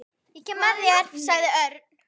Ég kem með þér sagði Örn.